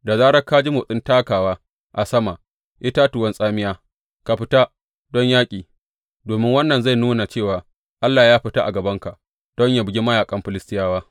Da zarar ka ji motsin takawa a sama itatuwan tsamiya, ka fita don yaƙi, domin wannan zai nuna cewa Allah ya fita a gabanka don yă bugi mayaƙan Filistiyawa.